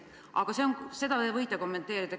Aga seda te võite kommenteerida.